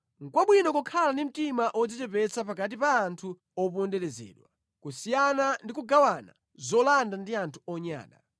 Nʼkwabwino kukhala ndi mtima wodzichepetsa pakati pa anthu oponderezedwa, kusiyana ndi kugawana zolanda ndi anthu onyada.